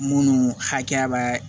Munnu hakɛya bɛ